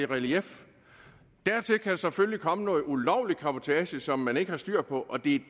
relief dertil kan selvfølgelig komme noget ulovlig cabotage som man ikke har styr på og det